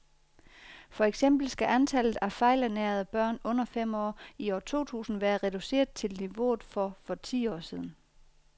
For eksempel skal antallet af fejlernærede børn under fem år i år to tusind være reduceret til niveauet for for ti år siden.